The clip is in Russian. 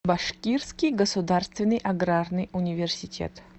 башкирский государственный аграрный университет